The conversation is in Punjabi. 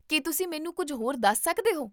ਕੀ ਤੁਸੀਂ ਮੈਨੂੰ ਕੁੱਝ ਹੋਰ ਦੱਸ ਸਕਦੇ ਹੋ?